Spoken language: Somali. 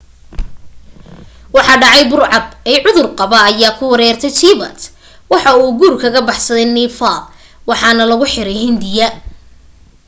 waxa dhacay burcad eey cudur qaba ayaa ku weeraray tibet waxa uu guur kaga baxsaday nepal waxaana lagu xiray hindiya